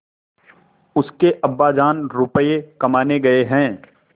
उसके अब्बाजान रुपये कमाने गए हैं